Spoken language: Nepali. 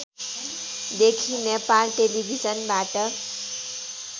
देखि नेपाल टेलिभिजनबाट